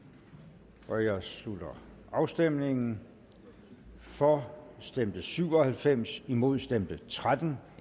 der jeg slutter afstemningen for stemte syv og halvfems imod stemte tretten